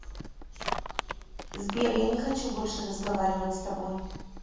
сбер я не хочу больше разговаривать с тобой